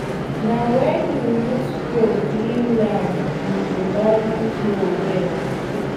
na when you use hoe clear land you go value plow well